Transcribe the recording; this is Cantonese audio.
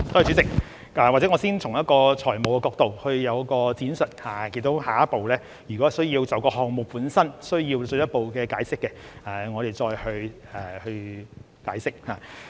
主席，或者我先從財務角度闡述，下一步如果需要就項目本身作進一步解釋，我們才再去解釋。